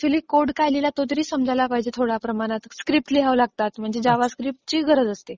अच्युअली code काय लिहिला हे तरी समजायला पाहिजे थोड्या प्रमाणात. स्क्रिप्ट लिहाव्या लागतात म्हणजे जावास्क्रिप्ट ची गरज असते.